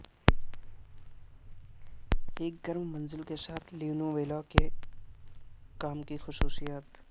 ایک گرم منزل کے ساتھ لینویلا کے کام کی خصوصیات